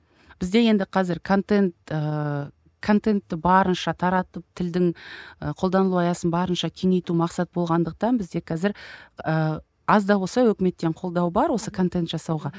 бізде енді қазір контент ыыы контентті барынша таратып тілдің і қолданылу аясын барынша кеңейту мақсат болғандықтан бізде қазір ыыы аз да болса өкіметтен қолдау бар осы контент жасауға